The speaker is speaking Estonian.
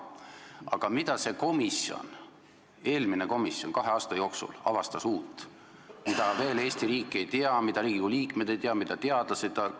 Aga mida see eelmine komisjon kahe aasta jooksul avastas uut, mida Eesti riik veel ei tea, mida Riigikogu liikmed ei tea, mida teadlased ei tea?